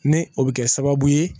Ni o bɛ kɛ sababu ye